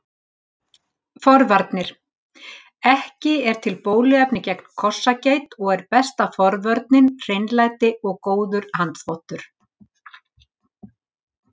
Forvarnir Ekki er til bóluefni gegn kossageit og er besta forvörnin hreinlæti og góður handþvottur.